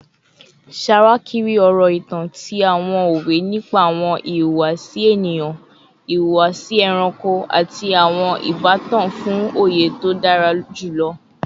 Ṣawakiri ọrọ itan ti awọn owe nipa awọn ihuwasi eniyan, ihuwasi ẹranko, ati awọn ibatan fun oye to dara julọ